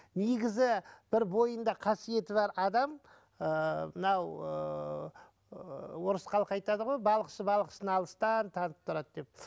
негізі бір бойында қасиеті бар адам ыыы мынау ыыы ы орыс халқы айтады ғой балықшы балықшыны алыстан танып тұрады деп